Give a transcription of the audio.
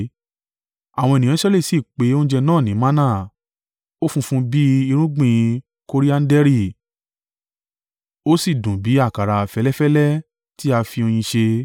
Àwọn ènìyàn Israẹli sì pe oúnjẹ náà ní manna. Ó funfun bí irúgbìn korianderi, ó sì dùn bí àkàrà fẹ́lẹ́fẹ́lẹ́ ti a fi oyin ṣe.